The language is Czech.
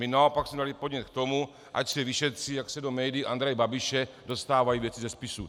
My naopak jsme dali podnět k tomu, ať se vyšetří, jak se do médií Andreje Babiše dostávají věci ze spisů.